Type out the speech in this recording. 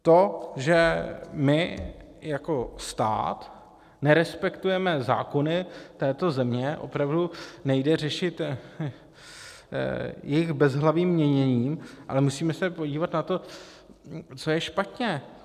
To, že my jako stát nerespektujeme zákony této země, opravdu nejde řešit jejich bezhlavým měněním, ale musíme se podívat na to, co je špatně.